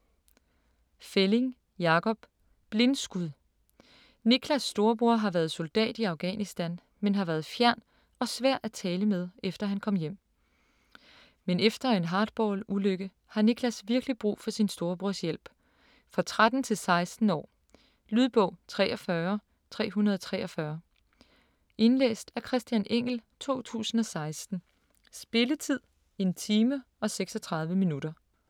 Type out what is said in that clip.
Fälling, Jakob: Blindskud Niklas storebror har været soldat i Afghanistan, men har været fjern og svær at tale med efter han kom hjem. Men efter en hardball-ulykke har Niklas virkeligt brug for sin storebrors hjælp. For 13-16 år. Lydbog 43343 Indlæst af Christian Engell, 2016. Spilletid: 1 time, 36 minutter.